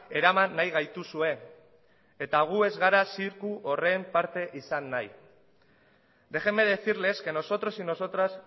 eraman nahi gaituzue eta gu ez gara zirku horren parte izan nahi déjeme decirles que nosotros y nosotras